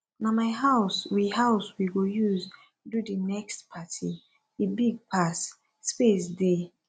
na my house we house we go use do di next party e big pass space dey